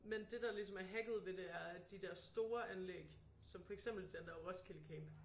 Men det der ligesom er hacket ved det er at de der store anlæg som for eksempel den der Roskilde camp